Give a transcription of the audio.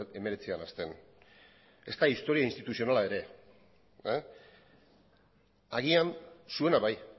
hemeretzian hasten ezta historia instituzionala ere agian zuena bai